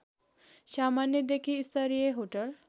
सामान्यदेखि स्तरीय होटल